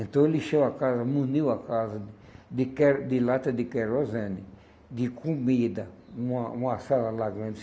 Então, ele encheu a casa, muniu a casa de que de lata de querosene, de comida, numa uma sala lá grande.